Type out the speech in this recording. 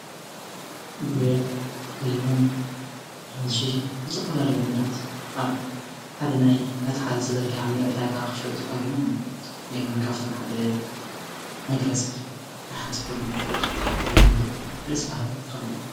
ጉዕ፣ ለሚን፣ ኣራንሺ ዝተፍፈላልዩ ነገራት ኣብ ሓደ ናይ መትሓዚ ዘርጊሓ ንዕዳጋ ክትሸጦ ተቐሪቦም ኣለዉ፤ ለሚን ካፍቶም ሓደ መግለጺ ንሓንቲ ጎርዞ ፍቅርካ እትሓተሉ መንገዲ እዩ፤ ደስ በሃሊ ተክሊ እዩ።